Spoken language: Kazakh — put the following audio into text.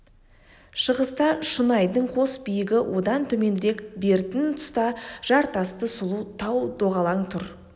шығыста шұнайдың қос биігі одан төменірек бертін тұста жартасты сұлу тау доғалаң тұр